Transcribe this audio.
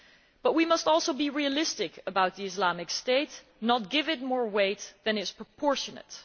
But we must also be realistic about the Islamic State, not give it more weight than is proportionate.